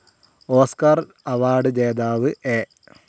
Oscar award ജേതാവ് A.